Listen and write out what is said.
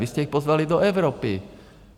Vy jste je pozvali do Evropy.